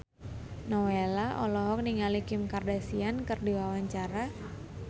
Nowela olohok ningali Kim Kardashian keur diwawancara